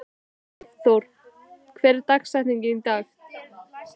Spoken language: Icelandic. Sæþór, hver er dagsetningin í dag?